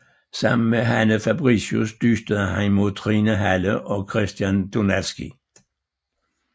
Sammen med Hanne Fabricius dystede han mod Trine Halle og Christian Donatzky